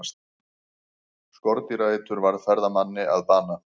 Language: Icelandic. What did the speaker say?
Skordýraeitur varð ferðamanni að bana